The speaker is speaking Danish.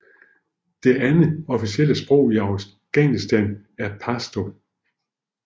Det andet officielle sprog i Afghanistan er pashto